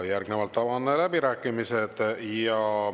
Järgnevalt avan läbirääkimised.